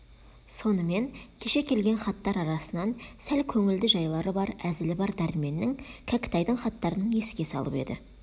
сонымен кеше келген хаттар арасынан сәл көңілді жайлары бар әзілі бар дәрменнің кәкітайдың хаттарын еске салып еді